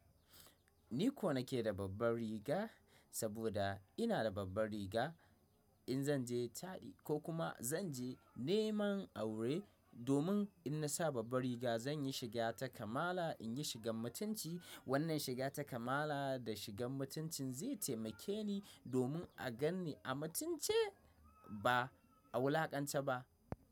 Ni ko nake da babban riga saboda ina da babban riga in zan je taɗi ko kuma zan je neman aure domin in na sa babban riga zan yi shiga ta kamala in yi shigan mutunci. Wannan shiga ta kamala da shigan mutuncin zai taimake ni domin a gan ni a matunce ba a wulakance ba.